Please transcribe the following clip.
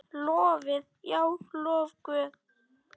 Lofið, já, lofið Guð.